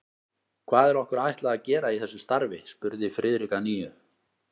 Hvað er okkur ætlað að gera í þessu starfi? spurði Friðrik að nýju.